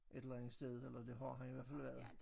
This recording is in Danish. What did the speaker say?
Et eller andet sted eller det har han i hvert fald været